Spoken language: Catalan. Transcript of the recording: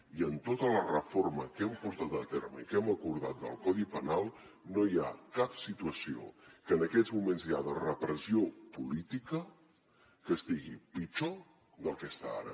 i en tota la reforma que hem portat a terme i que hem acordat del codi penal no hi ha cap situació que en aquests moments hi ha de repressió política que estigui pitjor del que està ara